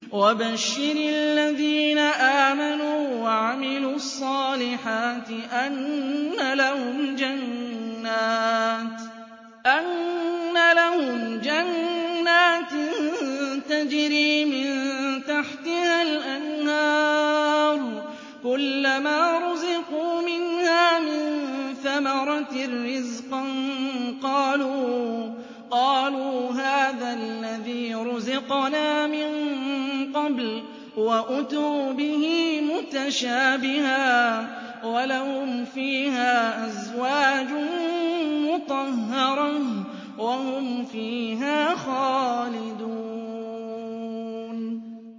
وَبَشِّرِ الَّذِينَ آمَنُوا وَعَمِلُوا الصَّالِحَاتِ أَنَّ لَهُمْ جَنَّاتٍ تَجْرِي مِن تَحْتِهَا الْأَنْهَارُ ۖ كُلَّمَا رُزِقُوا مِنْهَا مِن ثَمَرَةٍ رِّزْقًا ۙ قَالُوا هَٰذَا الَّذِي رُزِقْنَا مِن قَبْلُ ۖ وَأُتُوا بِهِ مُتَشَابِهًا ۖ وَلَهُمْ فِيهَا أَزْوَاجٌ مُّطَهَّرَةٌ ۖ وَهُمْ فِيهَا خَالِدُونَ